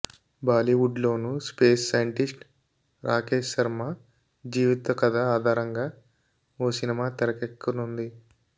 బాలీవుడ్లోనూ space scientist Rakesh Sharma జీవిత కథ ఆధారంగా ఓ సినిమా తెరకెక్కనుంది